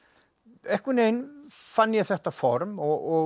einhvern veginn fann ég þetta form og